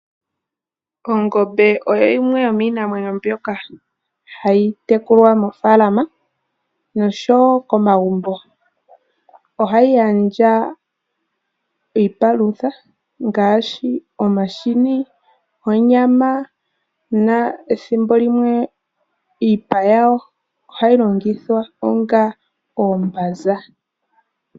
Ongombe oyo yimwe yomiinamwenyo mbyoka hayi tekulwa moofaalama nosho woo komagumbo. Oha yi gandja iipalutha ngaashi omahini, onyama na ethimbo limwe iipa yawo oha yi longithwa onga oombanza.